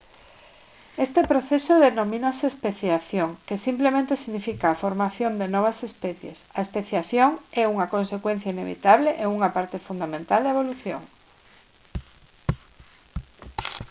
este proceso denomínase especiación que simplemente significa a formación de novas especies a especiación é unha consecuencia inevitable e unha parte fundamental da evolución